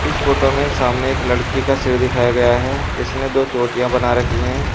इस फोटो में सामने एक लड़की का सिर दिखाया गया है जिसने दो चोटियां बना रखी हैं।